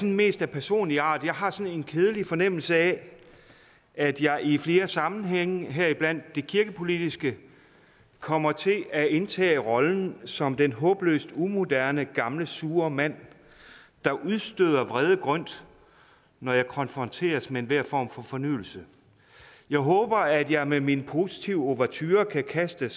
mest af personlig art jeg har sådan en kedelig fornemmelse af at jeg i flere sammenhænge heriblandt det kirkepolitiske kommer til at indtage rollen som den håbløst umoderne gamle sure mand der udstøder vrede grynt når jeg konfronteres med enhver form for fornyelse jeg håber at jeg med min positive ouverture kan kaste